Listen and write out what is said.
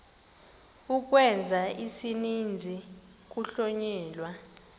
ukwenza isininzi kuhlonyelwa